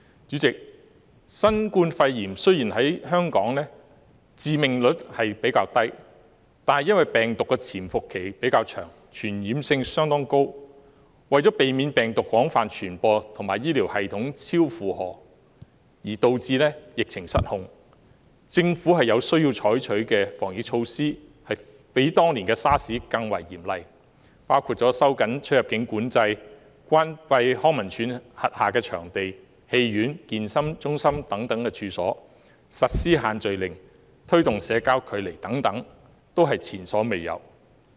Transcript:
主席，雖然新冠肺炎在香港的致命率比較低，但因為病毒的潛伏期比較長而傳染性相當高，為了避免病毒廣泛傳播及醫療系統超負荷而導致疫情失控，政府有需要採取比當年 SARS 更為嚴厲的防疫措施，包括收緊出入境管制、關閉康樂及文化事務署轄下的場地、戲院、健身中心等處所、實施限聚令及推動保持社交距離等，都是前所未有的措施。